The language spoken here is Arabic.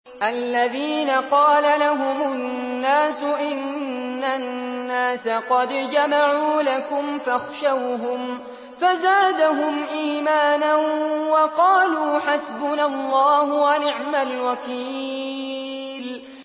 الَّذِينَ قَالَ لَهُمُ النَّاسُ إِنَّ النَّاسَ قَدْ جَمَعُوا لَكُمْ فَاخْشَوْهُمْ فَزَادَهُمْ إِيمَانًا وَقَالُوا حَسْبُنَا اللَّهُ وَنِعْمَ الْوَكِيلُ